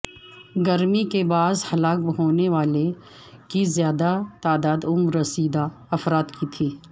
گرمی کے باعث ہلاک ہونے والوں کی زیادہ تعداد عمر رسیدہ افراد کی تھی